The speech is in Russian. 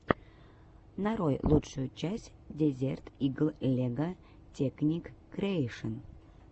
нарой лучшую часть дезерт игл лего текник криэйшн